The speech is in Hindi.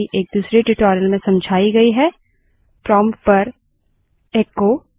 उबंटु में terminal पर जाने के लिए ctrl + alt + t मदद करता है